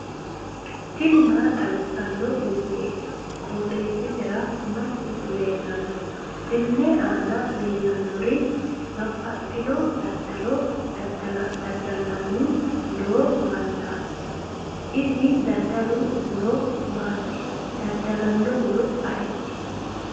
tini maa xawissanno misileeti? qooxeessisera may leellanno? tenne aana leellannori babbaxxino daddalo dadda'lanni noo mannaati isi daddalu horo maati? daddalanohuno ayeeti?